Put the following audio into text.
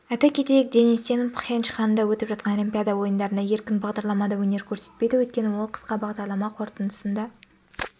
айта кетейік денис тен пхенчханда өтіп жатқан олимпиада ойындарында еркін бағдарламада өнер көрсетпейді өйткені олқысқа бағдарлама қорытындысында